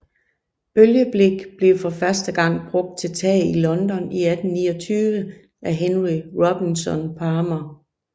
Bølgeblik blev for første gang brugt til tag i London i 1829 af Henry Robinson Palmer